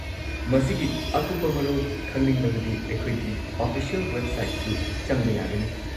ꯃꯁꯤꯒꯤ ꯑꯀꯨꯞꯄ ꯃꯔꯣꯜ ꯈꯪꯅꯤꯡꯂꯕꯗꯤ ꯑꯩꯈꯣꯏꯒꯤ ꯑꯣꯐꯤꯁꯤꯑꯦꯜ ꯋꯦꯕꯁꯥꯏꯠꯁꯨ ꯆꯪꯕ ꯌꯥꯒꯅꯤ꯫